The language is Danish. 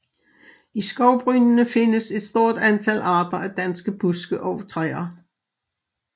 I skovbrynene findes et stort antal arter af danske buske og træer